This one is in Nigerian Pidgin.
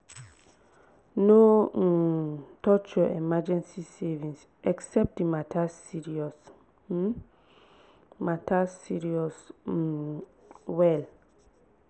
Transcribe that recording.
no um touch your emergency savings except the matter serious um matter serious um well